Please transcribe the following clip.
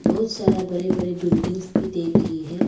बहुत सारा बड़े बड़े बिल्डिंग भी देख रही है।